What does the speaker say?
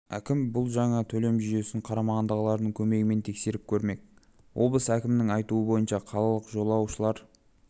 әкім бұл жаңа төлем жүйесін қарамағындағылардың көмегімен тексеріп көрмек облыс әкімінің айтуы бойынша қалалық жолаушылар